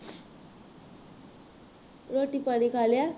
ਰੋਟੀ ਪਾਣੀ ਖਾ ਲਿਆ